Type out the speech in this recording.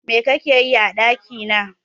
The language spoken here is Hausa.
Me kake yi a ɗakina?